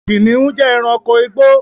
Kìnnìún jẹ́ èránkò igbó